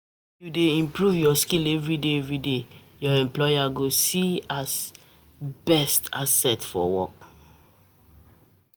If you dey improve your skill everyday everyday, your employer go see you as beta asset.